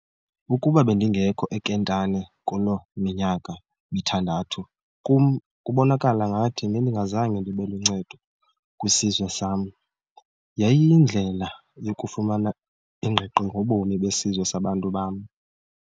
Ukuba bendingekho eKentani Kuloo minyaka mithandathu, kum kubonakala ngathi ngendingazange ndibe luncedo kwisizwe sam. yayiyindlela yokufumana ingqiqo ngobomi besizwe sabantu bam.